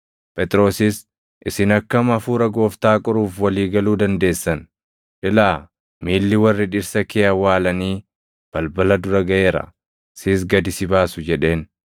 Phexrosis, “Isin akkam Hafuura Gooftaa qoruuf walii galuu dandeessan? Ilaa! miilli warra dhirsa kee awwaalanii balbala dura gaʼeera; sis gad si baasu” jedheen.